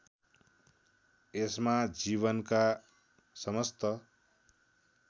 यसमा जीवनका समस्त